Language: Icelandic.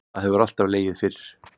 Það hefur alltaf legið fyrir